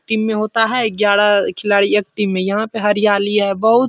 team में होता है ग्यारह अ खिलाड़ी एक टीम में | यहाँ पे हरियाली है बहुत --